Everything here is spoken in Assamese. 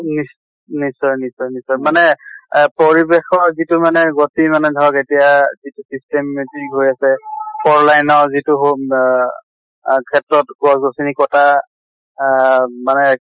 নিশ নিশ্চয় নিশ্চয় নিশ্চয় মানে আহ পৰিবেশৰ যিটো মানে গতি মানে ধৰক এতিয়া যিটো systematic হৈ আছে four line ৰ যিটো home আহ ক্ষেত্ৰত গছ গছ্নি কটা আহ মানে